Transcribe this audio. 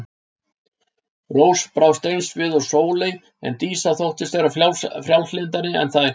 Rós brást eins við og Sóley en Dísa þóttist vera frjálslyndari en þær.